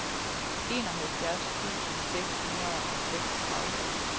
enoghalvfjerds tusind seks hundrede og seksogtredive